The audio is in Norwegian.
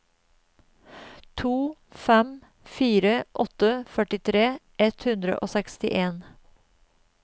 to fem fire åtte førtitre ett hundre og sekstien